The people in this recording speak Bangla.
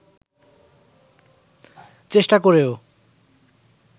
চেষ্টা করেও